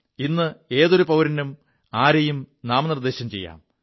ഇ് ഏതൊരു പൌരനും ആരെയും നാമനിർദ്ദേശം ചെയ്യാം